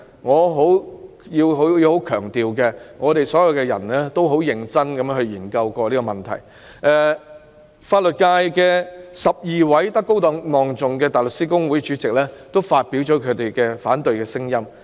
我要強調所有人均認真地研究這個問題，而法律界12名德高望重的現任及前任香港大律師公會主席均表達了反對聲音。